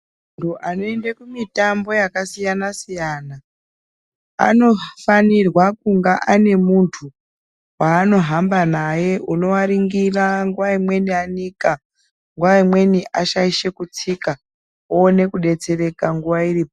Antu anoende kumitambo yakasiyana-siyana, anofanirwa kunga ane muntu, waanohamba naye, unoaringira ,nguwa imweni anika ,nguwa imweni ashaishe kutsika ,aone kudetsereka nguwa iripo.